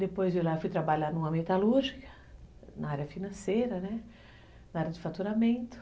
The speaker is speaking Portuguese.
Depois de lá, fui trabalhar numa metalúrgica, na área financeira, né, na área de faturamento.